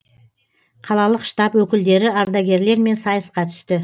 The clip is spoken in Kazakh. қалалық штаб өкілдері ардагерлермен сайысқа түсті